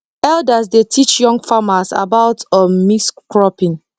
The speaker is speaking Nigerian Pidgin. elders dey teach young farmers about um mixed cropping